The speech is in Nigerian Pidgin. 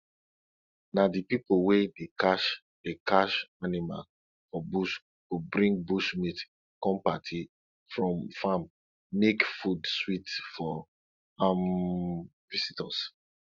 na di pipo wey dey catch dey catch animal for bush go bring bush meat come party from farm make food sweet for um visitors